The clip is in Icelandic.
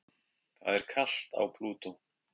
það er kalt á plútó